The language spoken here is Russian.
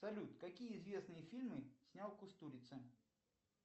салют какие известные фильмы снял кустурица